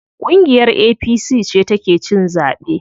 Ƙungiyar APC ce ta ke cin zaɓe.